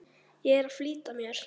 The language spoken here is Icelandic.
Ég er að flýta mér!